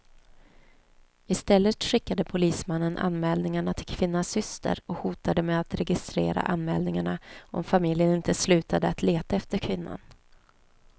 Istället skickade polismannen anmälningarna till kvinnans syster och hotade med att registrera anmälningarna om familjen inte slutade att leta efter kvinnan.